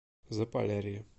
заполярье